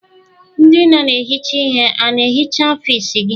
Ndị na-ehicha ihe a na-ehicha ọfiisi gị?